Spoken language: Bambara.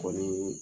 Kɔni